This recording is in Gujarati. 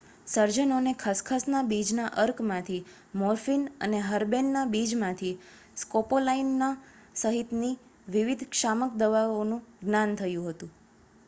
સર્જનોને ખસખસના બીજના અર્કમાંથી મોર્ફિન અને હર્બેનના બીજમાંથી સ્કોપોલામાઇન સહિતની વિવિધ શામક દવાઓનું જ્ઞાન હતું